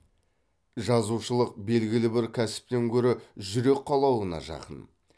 жазушылық белгілі бір кәсіптен гөрі жүрек қалауына жақын